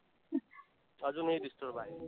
अजूनही disturb आहे.